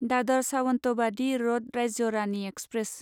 दादर सावन्तवादि र'द राज्य रानि एक्सप्रेस